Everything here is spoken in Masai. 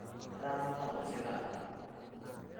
etenaa olashe taata